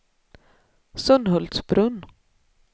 Sunhultsbrunn